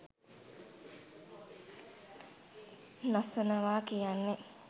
නසනවා කියන්නේ.